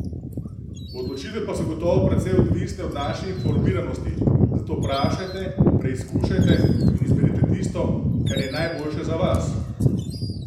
Odločitve pa so gotovo precej odvisne od naše informiranosti, zato vprašajte, preizkušajte in izberite tisto, kar je najboljše za vas.